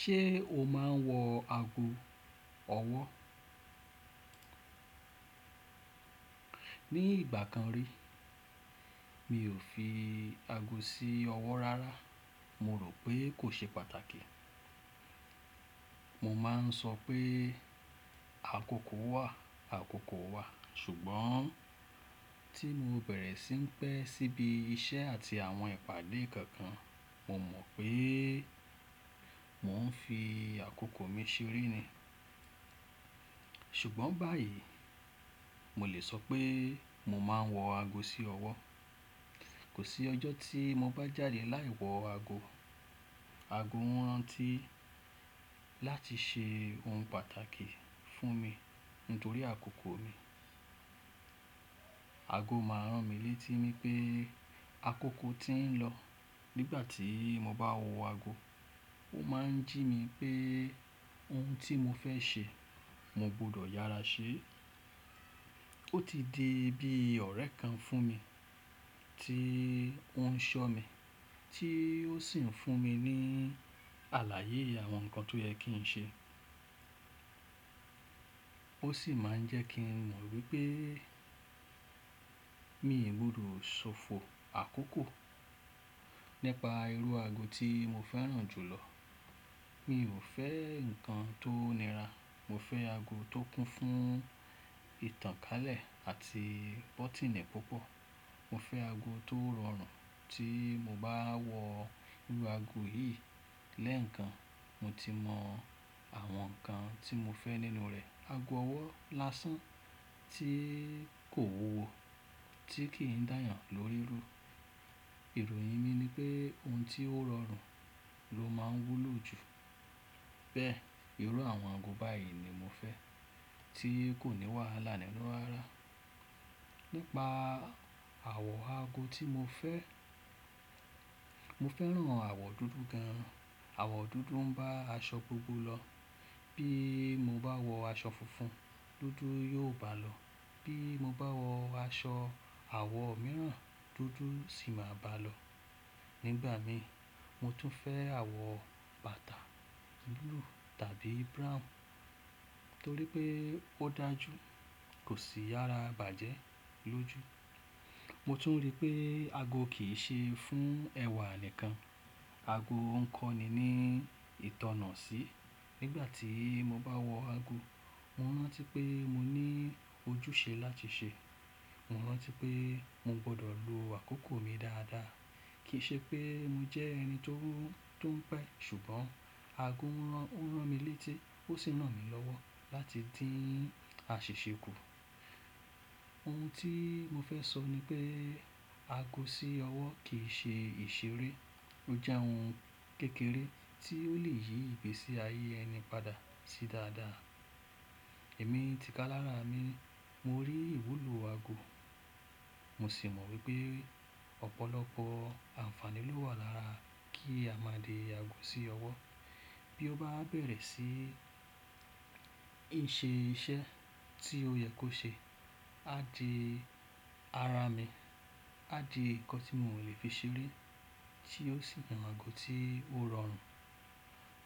Ṣé o máa ń wọ ago ọwọ́? Ni ìgbà kan rí mi ò fi ago sí ọwọ́ rárá. Mo rò pé kò ṣe pàtàkì. Mo ma ń sọ pé àkókò wà, àkókò wà sùgbọ́n tí mo bẹ̀rẹ̀ sí ń pẹ̀ síbi iṣẹ́ àti àwọn ìpàdé kankan, mo mọ̀ pé mò ń fi àkókò mi ṣe ere ni. Ṣùgbọ́n báyìí, mo lè sọ pé mo máa ń wọ ago sí ọwọ́. Kò sí ọjọ́ tí mo bá jáde láì wọ ago. Ago rán ti láti ṣe ohun pàtàkì fún mi nítorí àkókò mi. Ago máa ń ràn mí létí pé àkókò ti ń lọ. Nígbà tí mo bá wọ ago, ó máa ń jí mi pé ohun tí mo fẹ́ ṣe, mo gbọ́dọ̀ yára sé. Ó ti di bí ọ̀rẹ́ kan fún mi tí ó ń ṣọ́ mi, tí ó sì ń fún mi ní àlàyé àwọn nǹkan tó yẹ kí n ṣe. Ó sì máa ń jẹ́ kí n mọ̀ wípé mi ò burúu sófo àkókò. Nípa irú ago tí mo fẹ́ràn jù lọ, mi ò fẹ́ nǹkan tó nira. Mo fẹ́ ago tó kún fún ìtànkálẹ̀ àti bótínẹ̀ púpọ̀. Mo fẹ́ ago tó rọrùn tí mo bá wọ irú ago yìí lẹ́ẹ̀kan, mo ti mọ àwọn nǹkan tí mo fẹ́ nínú rẹ̀. Ago ọwọ́ lásán tí kò wúwo, tí kì í dáyan lórí rú. Ìròyìn mi ni pé ohun tí ó rọrùn ló máa ń wú lo jù bẹ́ẹ̀. Irú àwọn ago báyìí ni mo fẹ́ tí kò ní wà lánàá nínú rara. Nípa àwọ̀ ago tí mo fẹ́, mo fẹ́ràn àwọ̀ dúdú gan. Àwọ̀ dúdú ń bá aṣọ gbogbo lọ. Bí mo bá wọ aṣọ funfun, dúdú yóò bá a lọ. Bí mo bá wọ aṣọ àwọ̀ mìíràn, dúdú sì máa bá a lọ. Nígbà mi, mo tún fẹ́ àwọ̀ bàtà búlúù tàbí brown torí pé ó dájú, kò sì yára bàjẹ́ lójú. Mo tún rí pé ago kì í ṣe fún ẹwà nìkan. Ago ń kọ́ni ní ìtọ̀nà sí. Nígbà tí mo bá wọ ago, mo rántí pé mo ní ojúṣe láti ṣe. Mo rántí pé mo gbọ́dọ̀ lo àkókò mi dáadáa. Kì í ṣe pé mo jẹ́ ẹni tó ń pẹ̀, ṣùgbọ́n ago ń ràn mí létí, ó sì nà mí lọ́wọ́ láti dín àṣìṣe kù. Ohun tí mo fẹ́ sọ ni pé ago sí ọwọ́ kì í ṣe ìṣeré. Ó jẹ́ ohun kékeré tí ó lè yí ìgbésí ayé ẹni padà sí dáadáa. Èmi tika lára mi, mo rí ìwúlò ago, mo sì mọ̀ wípé ọ̀pọ̀lọpọ̀ àǹfààní ló wà lára kí a máa dé ago sí ọwọ́. Bí ó bá bẹ̀rẹ̀ sí ì ṣe iṣẹ́ tí ó yẹ kó ṣe, á di ara mi, á di nǹkan tí mo lè fi ṣeré tí ó sì jẹ́ àwọn ago tí ó rọrùn.